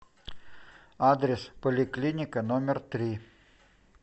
адрес поликлиника номер три